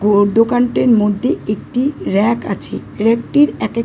ঘর দোকানটির মধ্যে একটি র‍্যাক আছে। র‍্যাক -টির এক এক --